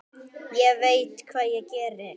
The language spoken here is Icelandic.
Ég veit hvað ég geri.